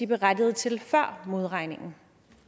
berettiget til før modregningen